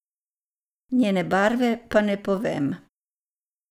Njene barve pa ne povem.